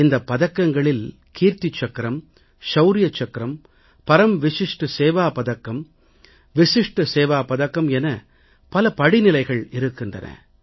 இந்த பதக்கங்களில் கீர்த்தி சக்கரம் ஷவுர்ய சக்கரம் பரம் விஷிஷ்ட் சேவா பதக்கம் விஷிஷ்ட் சேவா பதக்கம் என பல படிநிலைகள் இருக்கின்றன